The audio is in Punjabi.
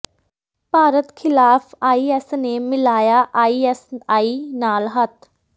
ਭਾਰਤ ਖਿਲਾਫ ਆਈ ਐੱਸ ਨੇ ਮਿਲਾਇਆ ਆਈ ਐੱਸ ਆਈ ਨਾਲ ਹੱਥ